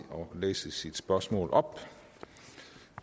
læse sit spørgsmål op